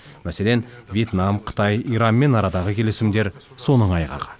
мәселен вьетнам қытай иранмен арадағы келісімдер соның айғағы